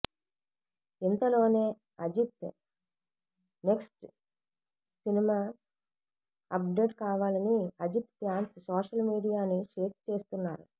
ఇంతలోనే Ajith next cinema update కావాలని Ajith fans social మీడియాని షేక్ చేస్తున్నారు